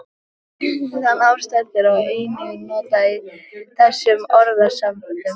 Svo virðist sem hástertur sé einungis notað í þessum orðasamböndum.